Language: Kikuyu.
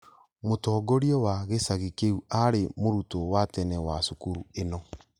Mũtongoria wa gĩcagi kĩu arĩ mũrutwo wa tene wa cukuru ĩno